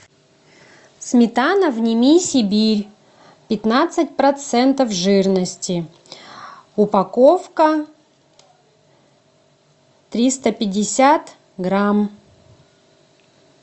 сметана вними сибирь пятнадцать процентов жирности упаковка триста пятьдесят грамм